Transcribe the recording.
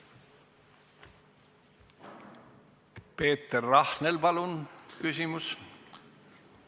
Peeter Rahnel, palun küsimus!